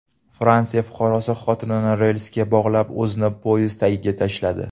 Fransiya fuqarosi xotinini relsga bog‘lab, o‘zini poyezd tagiga tashladi.